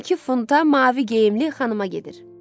12 funta mavi geyimli xanıma gedir.